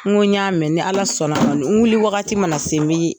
N' ko ni y'a mɛn, ni ala sɔnn'ma n,wuli wagati mana se, n bi